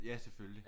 Ja selvfølgelig